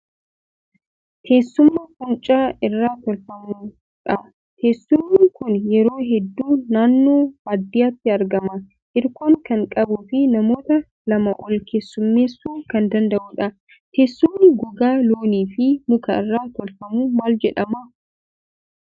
Teessuma fuuncaa irraa tolfamu dha. Teessumni kun yeroo hedduu naannoo baadiyyaatti argama. Hirkoo kan qabuu fi namoota lamaa ol keessummeessuu kan danda'udha. Teessumni gogaa loonii fi muka irraa tolfamu maal jedhama?